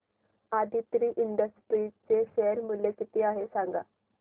Aditri industries चे share मूल्य किती आहे सांगा